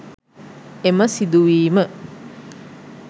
එම සිදුවීම